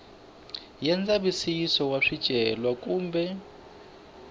ya ndzavisiso wa swicelwa kumbe